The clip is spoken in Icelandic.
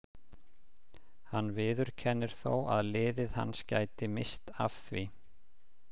Hann viðurkennir þó að liðið hans gæti misst af því.